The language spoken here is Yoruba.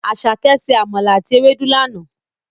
Àsàké se àmàlà àti ewédú lana.